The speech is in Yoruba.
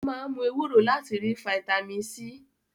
Ó máa ń mú ewúro láti rí fataímìn C.